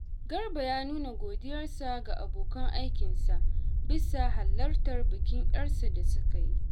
Garba ya nuna godiyarsa ga abokan aikinsa bisa halartar bikin ‘yarsa da suka yi